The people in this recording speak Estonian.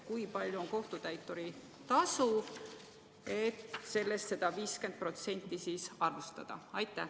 Kui suur on kohtutäituri tasu, et sellest seda 50% siis arvestada?